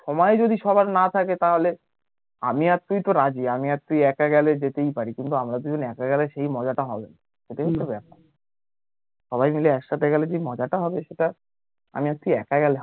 সময় যদি সবার না থাকে তাহলে আমি আর তুই তো রাজি আমি আর তুই একা গেলে যেতেই পারি কিন্তু কিন্তু আমরা দুজন একা গেলে সেই মজা টা হবে না এটাই হচ্ছে ব্যাপার সবাই মাইল একসাথে গেলে যে মজা টা হবে সেটা আমি আর তুই একা গেলে